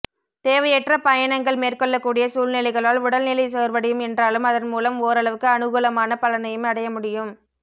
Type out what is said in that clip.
தேவையற்ற பயணங்கள் மேற்கொள்ளக்கூடிய சூழ்நிலைகளால் உடல்நிலை சோர்வடையும் என்றாலும் அதன்மூலம் ஓரளவுக்கு அனுகூலமான பலனையும் அடையமுடியும்